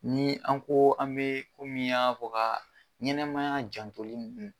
Ni an ko an bɛ kɔmi y'a fɔ ɲɛnɛmaya jantoli.